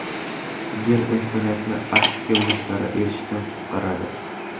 Yer insoniyatni Arktika muzlari erishidan qutqaradi.